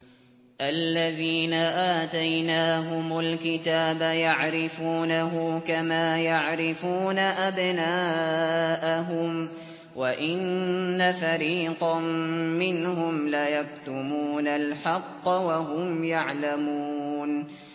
الَّذِينَ آتَيْنَاهُمُ الْكِتَابَ يَعْرِفُونَهُ كَمَا يَعْرِفُونَ أَبْنَاءَهُمْ ۖ وَإِنَّ فَرِيقًا مِّنْهُمْ لَيَكْتُمُونَ الْحَقَّ وَهُمْ يَعْلَمُونَ